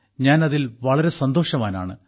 ഞാൻ അതിൽ വളരെ സന്തോഷവാനാണ്